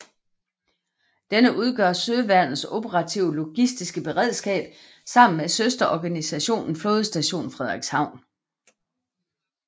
Denne udgør Søværnets operative logistiske beredskab sammen med søsterorganisationen Flådestation Frederikshavn